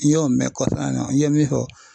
N y'o mɛn kɔsan ni na, n ye min fɔ